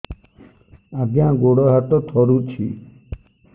ଆଜ୍ଞା ଗୋଡ଼ ହାତ ଥରୁଛି